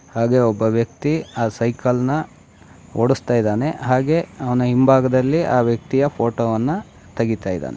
ಹಾಗೆ ಒಬ್ಬ ವ್ಯಕ್ತಿ ಆ ಸೈಕಲ್ನ ಓಡುಸ್ತಾ ಇದ್ದಾನೆ ಹಾಗೆ ಅವನ ಹಿಂಭಾಗದಲ್ಲಿ ಆ ವ್ಯಕ್ತಿಯ ಫೋಟೋವನ್ನು ತೆಗಿತಾ ಇದ್ದಾನೆ.